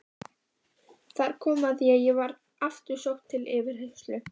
Þar kom að ég var aftur sótt til yfirheyrslu.